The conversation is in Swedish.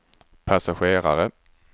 passagerare